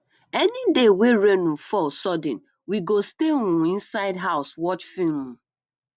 any day wey rain um fall sudden we go stay um inside house watch film um